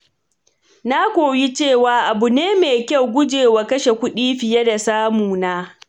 Na koyi cewa abu ne mai kyau gujewa kashe kuɗi fiye da samuna.